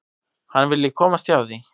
Hann vilji komast hjá því.